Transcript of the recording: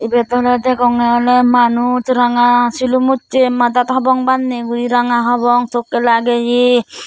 ibet awle degonge awle manuj ranga silum ucche madat hobong banne guri ranga hobong tokke lageye.